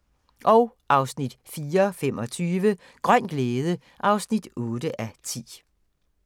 04:25: Grøn glæde (8:10)